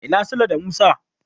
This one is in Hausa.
Ina Sule da Musa?